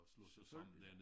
Selvfølgelig